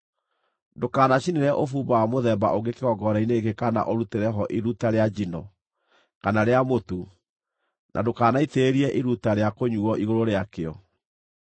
Ndũkanacinĩre ũbumba wa mũthemba ũngĩ kĩgongona-inĩ gĩkĩ kana ũrutĩre ho iruta rĩa njino, kana rĩa mũtu, na ndũkanaitĩrĩrie iruta rĩa kũnyuuo igũrũ rĩakĩo.